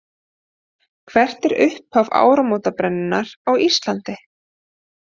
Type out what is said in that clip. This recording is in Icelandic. Hvert er upphaf áramótabrennunnar á Íslandi?